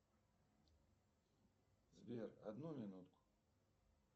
сбер одну минутку